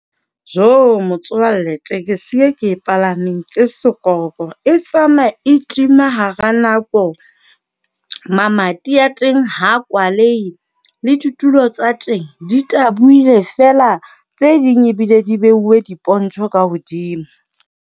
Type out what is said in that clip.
Motswalle, tekesi e ke e palameng ke sekorokoro e tsamaya e tima hara nako. Mamati a teng ha kwalehe le ditulo tsa teng di tabohile feela. Tse ding ebile di beuwe dipontjho ka hodimo.